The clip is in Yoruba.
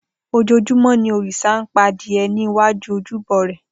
Ojoojúmọ́ ni òrìṣà ń pa adìẹ ní iwájú ojúbọ rẹ̀.